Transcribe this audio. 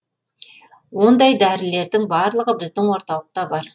ондай дәрілердің барлығы біздің орталықта бар